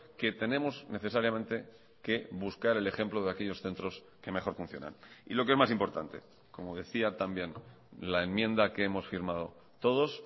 que tenemos necesariamente que buscar el ejemplo de aquellos centros que mejor funcionan y lo que es más importante como decía también la enmienda que hemos firmado todos